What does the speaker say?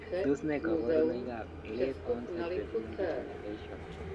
Tos nee koborunoikab Late onset retinal degeneration?